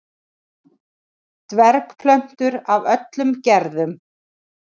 Dvergplöntur af öllum gerðum.